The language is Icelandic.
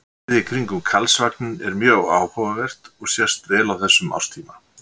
Svæðið í kringum Karlsvagninn er mjög áhugavert og sést vel á þessum árstíma.